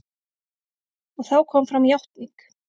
Og þá kom fram játning.